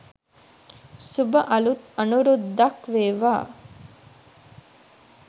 සුභ අලුත් අනුරුද්දක් වේවා